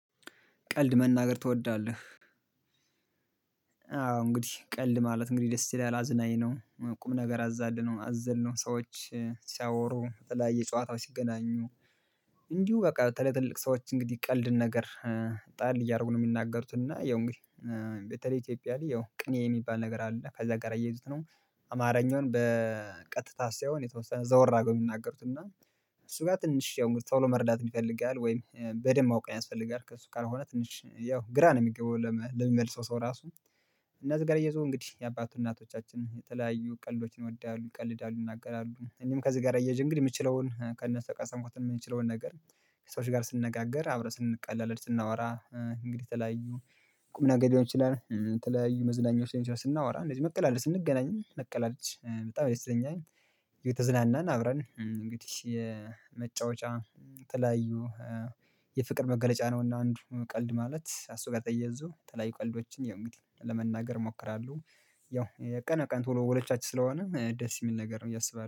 ቀልድ መናገር ትወዳለህ? አዎ እንግዲህ ቀልድ ማለት እንግዲህ ደስ ይላል አዝናኝ ነው ቁም ነገር አዛልነው አዘልነው ሰዎች ሲያወሩ በተለያየ ጨዋታው ሲገናኙ እንዲሁ በቃ በተለይ ትልቅ ሰዎች እንግዲህ ይቀልድን ነገር ጣል እያደረጉ ነው የሚናገሩት እና ያው እንግዲህ በተለይ ኢትዮጵያ ላይ ያው ቅኔ የሚባል ነገር አለ ከዛ ጋር እየሄዱት ነው። አማርኛውን በቀጥታ ሳይሆን የተወሰነ ዘወር አገው የሚናገሩት እና እሱ ጋር ትንሽ ተሎ መረዳት የሚፈልግ ያህል ወይም በደንብ ማወቅ ያስፈልጋል። ከእሱ ካልሆነ ትንሽ ያው ግራ ነው የሚገባው ለሚመልሰው ሰው ራሱ። እነዚህ ገረየቱ እንግዲህ የአባቱ እናቶቻችን የተለያዩ ቀልዶችን ይወዳሉ ይቀልዳሉ ይናገራሉ እኔም ከዚህ ጋር አየህ እንግዲህ የምችለውን ከነሰቃ በቃ ሰምኩት የምንችለውን ነገር። ሰዎች ጋር ስንነጋገር አብረን ስንቀላለድ ስናወራ እንግዲህ የተለያዩ ቁም ነገር ሊሆን ይችላል የተለያዩ መዝናኛዎች ስናወራ እንደዚህ መቀላለድ ስንገናኝ መቀላለድ በጣም ይሰኛል። የተዝናናን አብረን እንግዲህ የመጫወቻ ትላዩ የፍቅር መገለጫ ነውና አንዱ ቀልድ ማለት ከእሱ ጋር ተያእየዞ ተለያይ ቀልዶችን የእንግዲህ ለመናገር እሞክራለሁ። ያው ቀን ቀን ቶሎ ወሎቻችን ስለሆነ ደስ የሚል ነገር ነው እያሰበው